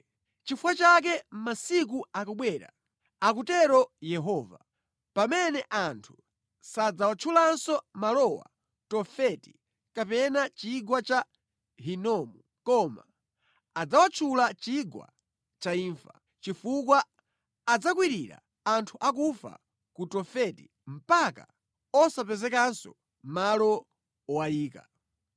Nʼchifukwa chake masiku akubwera, akutero Yehova, pamene anthu sadzawatchulanso malowo Tofeti kapena Chigwa cha Hinomu, koma adzawatchula Chigwa cha Imfa, chifukwa adzakwirira anthu akufa ku Tofeti mpaka osapezekanso malo owayika.